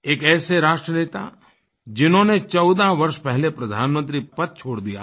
एक ऐसे राष्ट्र नेता जिन्होंने 14 वर्ष पहले प्रधानमंत्री पद छोड़ दिया था